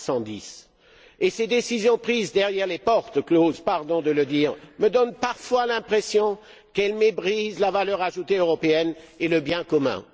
310. Ces décisions prises derrière des portes closes, pardon de le dire, me donnent parfois l'impression qu'elles méprisent la valeur ajoutée européenne et le bien commun.